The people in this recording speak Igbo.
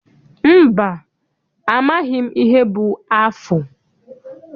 Mba, amaghị m ihe bụ afụ.